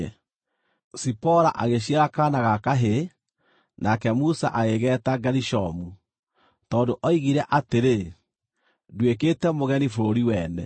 Zipora agĩciara kaana ga kahĩĩ, nake Musa agĩgeeta Gerishomu, tondũ oigire atĩrĩ, “Nduĩkĩte mũgeni bũrũri wene.”